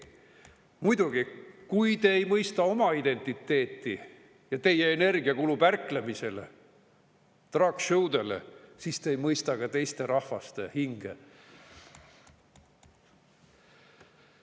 Muidugi, kui te ei mõista oma identiteeti ja teie energia kulub ärklemisele ja drag show'dele, siis te ei mõista ka teiste rahvaste hinge.